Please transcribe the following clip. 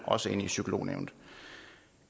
også ind i psykolognævnet